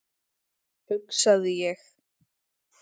hugsaði ég.